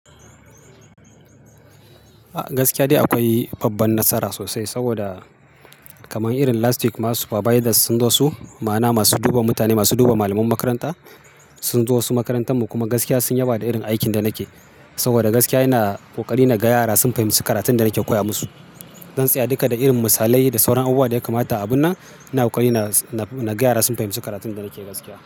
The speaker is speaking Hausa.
Gaskiya dai akwai babban nasara sosai saboda kaman irin last week ma supervisers sun zo su, ma'ana masu duba mutane, masu duba malaman makaranta sun zo su makarantar mu. Kuma gaskiya sun yaba da irin aikin da nake. Saboda gaskiya ina kokari na gaya yara su fahimci karatun da nake koya musu. Zan tsaya duka da irin misalai da sauran abubuwa da ya kamata a abun nan. Ina kokari na, na, na ga yara sun fahimci karatun da nake gaskiya.